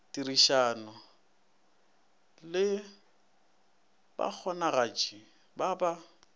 tirišano le bakgonagatši ba ba